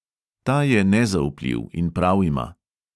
Ta je nezaupljiv, in prav ima.